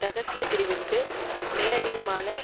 இரகசிய பிரிவிற்கு மேலதிகமான